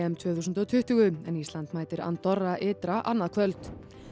tvö þúsund og tuttugu en Ísland mætir Andorra ytra annað kvöld